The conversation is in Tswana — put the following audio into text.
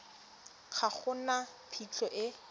ga go na phitlho e